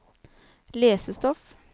lesestoff